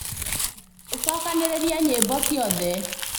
ũcokanĩrĩrie nyĩmbo ciothe